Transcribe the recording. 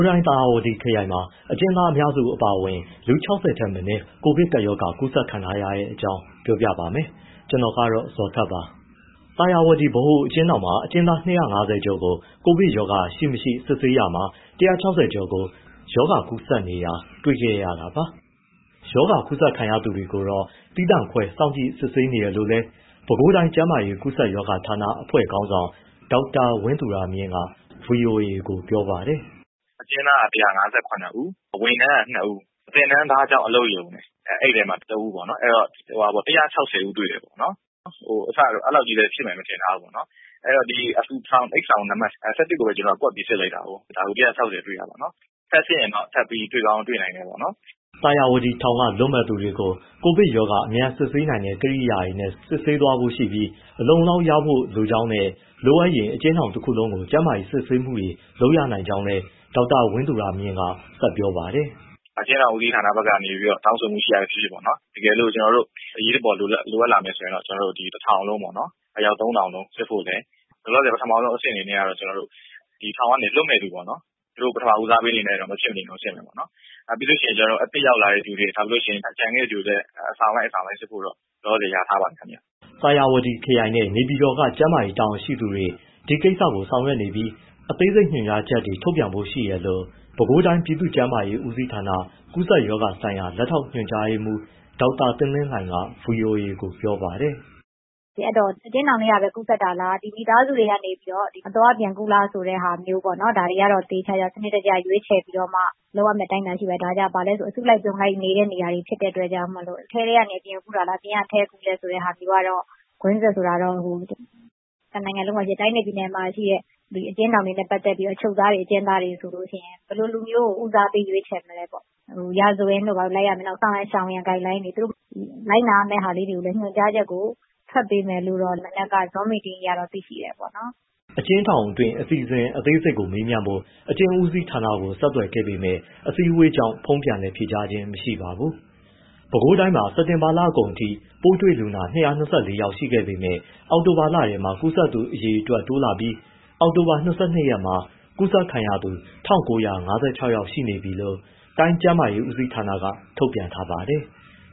းတိုင်း၊ သာယာဝတီထောင်မှာ အကျဉ်းသားအများစု အပါအဝင် လူ ၁၆၀ ထက်မနည်း ကိုဗစ်ကပ်ရောဂါ ကူးစက်ခံထားရတဲ့အကြောင်းကို ဗွီအိုအေမြန်မာပိုင်း သတင်းထောက် ကိုဇော်ထက်က ပြောပြပေးပါမယ်။ သာယာဝတီ ဗဟိုအကျဉ်းထောင်မှာ အကျဉ်းသား ၂၅၀ ကျော်ကို ကိုဗစ်ကပ်ရောဂါ ရှိ၊ မရှိ စစ်ဆေးရာမှာ ၁၆၀ ကို ရောဂါကူးစက်နေတာ တွေ့ရှိခဲ့တာပါ။ ရောဂါကူးစက်ခံရသူတွေကိုတော့ သီးသန့် ခွဲ စောင့်ကြည့်စစ်ဆေးနေတယ်လို့လည်း ပဲခူးတိုင်းကျန်းမာရေး ကူးစက်ရောဂါဌာန အဖွဲ့ခေါင်းဆောင် ဒေါက်တာ ဝင်းသူရမြင့်က ဗွီအိုအေကို ပြောပါတယ်။ “အကျဉ်းသားက ၁၅၇ ဦး၊ ဝန်ထမ်းက ၂ ဦး၊ သင်တန်းသားကျောင်း အလုပ်ရုံ အဲဒီမှာ ၁ ဦး အဲဒီတော့ ၁၆၀ ဦးတွေ့တယ်ပေါ့နော်။ အစက အဲဒီလောက်ကြီး ဖြစ်မယ်လို့ မထင်ထားဘူးပေါ့။ အဲဒီတော့ ဒီအိပ်ဆောင်နံပတ် ၁၁ ကိုပဲ ကွက်ပြီး စစ်လိုက်တာ ၁၆၀ တွေ့တာပေါ့နော်။ ထပ်စစ်ရင်တော့ တွေ့ကောင်း တွေ့နိုင်တယ်ပေါ့နော်။” သာယာဝတီထောင်က လွတ်မယ့်သူတွေကို ကိုဗစ်ရောဂါ အမြန်စစ်ဆေးနိုင်တဲ့ ကိရိယာတွေနဲ့ စစ်ဆေးသွားဖို့ရှိပြီး အလုံအလောက် ရဖို့လိုကြောင်းနဲ့ လိုအပ်ရင် အကျဉ်းထောင်တခုလုံးကို ကျန်းမာရေး စစ်ဆေးမှုတွေ လုပ်ရနိုင်ကြောင်း ဒေါက်တာဝင်းသူရမြင့်က ဆက်ပြောပါတယ်။ “အကျဉ်းထောင်ဦးစီးဌာနဘက်က တောင်ဆိုမှုရှိတာပဲဖြစ်ဖြစ် တကယ်လို့ အရေးပေါ်လိုအပ်လာရင် ကျနော်တို့ တထောင်လုံး အယောက် ၃,၀၀၀ လုံးစစ်ဖို့နဲ့ လောလောဆယ် ပထမဦးဆုံးအဆင့်အနေနဲ့ ထောင်ကနေ လွတ်မယ့်သူ ပထမဦးစားပေးအနေနဲ့ စစ်မယ်ပေါ့နော်။ ပြီးလို့ရှိရင် အသစ်ရောက်လာတဲ့သူတွေ ကျန်ခဲ့တဲ့သူတွေကိုလည်း အဆောင်လိုက် အဆောင်လိုက် စစ်ဖို့တော့ လောလောဆယ် လျာထားပါတယ်။” သာယာဝတီခရိုင်နဲ့ နေပြည်တော်က ကျန်းမာရေးတာဝန်ရှိသူတွေ ဒီကိစ္စကို ဆောင်ရွက်နေပြီး အသေးစိတ်ညွှန်ကြားချက်တွေ ထုတ်ပြန်ဖို့ရှိတယ်လို့ ပဲခူးတိုင်း ပြည်သူ့ကျန်းမာရေးဦးစီးဌာန ကူးစက်ရောဂါဆိုင်ရာ လက်ထောက်ညွှန်ကြားရေးမှူး ဒေါက်တာသင်းသင်းလှိုင်က ဗွီအိုအေကို ပြောပါတယ်။ “အဲဒီတော့ အကျဉ်းထောင်ထဲကပဲ ကူးစက်တာလား၊ မိသားစုထဲကနေ အသွားအပြန် ကူးလားဆိုတဲ့ဟာကို ဒါတွေကို စနစ်တကျ လုပ်ရမယ့် အတိုင်းအတာ ရှိပါတယ်။ ဒါက အစုလိုက်အပြုံလိုက် နေတဲ့နေရာတွေဖြစ်လို့ အထဲကနေ အပြင်ကူးတာလား၊ အပြင်ကနေ အထဲကူးလား ဆိုတဲ့ဟာမျိုးကတော့ ကွင်းဆက် ဆိုတာမျိုးကတော့။ တနိုင်ငံလုံးမှာရှိတဲ့ တိုင်းနဲ့ ပြည်နယ်မှာရှိတဲ့ အကျဉ်းထောင်တွေနဲ့ ပတ်သက်ပြီး အချုပ်သားတွေ၊ အကျဉ်းသားတွေဆို ဘယ်လို လူမျိုးကို ဦးစားပေး ရွေးချယ်မလဲပေါ့ ရာဇဝင်ပဲလိုက်ရမလား၊ ဆောင်ရန် ရှောင်ရန် guideline တွေ၊ လိုက်နာရမယ့် ဟာမျိုးညွှန်ကြားချက်ကို ထွက်ပေးမယ်လို့တော့ မနက်က zoom meeting အရတော့ သိသေးတယ်ပေါ့နော်။” အကျဉ်းထောင်တွင်း အစီအစဉ်အသေးစိတ်ကို မေးမြန်းဖို့ အကျဉ်းဦးစီးဌာနကို ဆက်သွယ်ခဲ့ပေမဲ့ အစည်းအဝေးကြောင့် ဖုန်းပြန်လည်ဖြေကြားခြင်း မရှိပါဘူး။ ပဲခူးတိုင်းမှာ စက်တင်ဘာလကုန်ပိုင်းအထိ ပိုးတွေ့လူနာ ၂၂၄ ယောက်ရှိခဲ့ပေမဲ့ အောက်တိုဘာလထဲမှာ ကူးစက်သူအရေအတွက်တိုးလာပြီး အောက်တိုဘာ ၂၂ ရက်မှာ ကူးစက်ခံရသူ ၁,၉၅၆ ယောက်ရှိနေပြီလို့ တိုင်းကျန်းမာရေး ဦးစီးဌာနက ထုတ်ပြန်ထားပါတယ်။